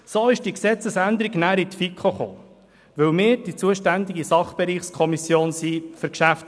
Danach kam diese Gesetzesänderung in die FiKo, weil sie für die Geschäfte der VOL die zuständige Sachbereichskommission ist.